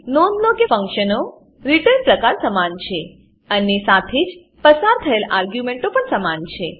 નોંધ લો કે ફંક્શનનો રીટર્ન પ્રકાર સમાન છે અને સાથે જ પસાર થયેલ આર્ગ્યુંમેંટો પણ સમાન છે